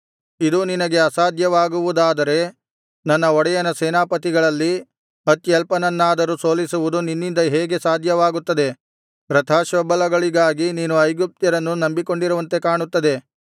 ಇದೂ ನಿನಗೆ ಅಸಾಧ್ಯವಾಗುವುದಾದರೆ ನನ್ನ ಒಡೆಯನ ಸೇನಾಧಿಪತಿಗಳಲ್ಲಿ ಅತ್ಯಲ್ಪನನ್ನಾದರೂ ಸೋಲಿಸುವುದು ನಿನ್ನಿಂದ ಹೇಗೆ ಸಾಧ್ಯವಾಗುತ್ತದೆ ರಥಾಶ್ವಬಲಗಳಿಗಾಗಿ ನೀನು ಐಗುಪ್ತ್ಯರನ್ನು ನಂಬಿಕೊಂಡಿರುವಂತೆ ಕಾಣುತ್ತದೆ